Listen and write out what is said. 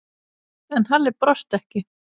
En Halli brosti ekki.